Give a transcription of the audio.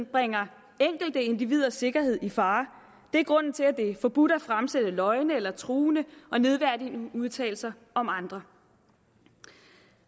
bringer enkelte individers sikkerhed i fare det er grunden til at det er forbudt at fremsætte løgne eller truende og nedværdigende uddannelser udtalelser om andre